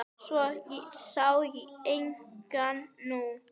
Svo sé einnig nú.